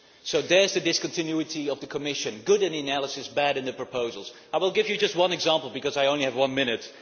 So there is the discontinuity of the Commission good in the analysis, bad in the proposals. I will give you just one example because I only have one minute.